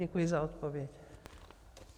Děkuji za odpověď.